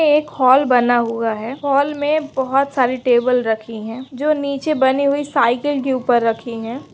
एक हल बना हुआ है हाल मेंबहुत सारी टेबल रखी है जो नीचे बनी हुई साइकिल के ऊपर रखी है।